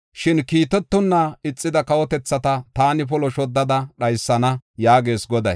Shin kiitetonna ixida kawotethata taani polo shoddada dhaysana” yaagees Goday.